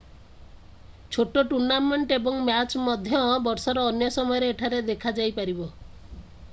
ଛୋଟ ଟୁର୍ନାମେଣ୍ଟ ଏବଂ ମ୍ୟାଚ୍ ମଧ୍ୟ ବର୍ଷର ଅନ୍ୟ ସମୟରେ ଏଠାରେ ଦେଖାଯାଇପାରିବ